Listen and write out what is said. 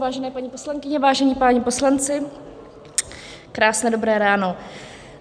Vážené paní poslankyně, vážení páni poslanci, krásné dobré ráno.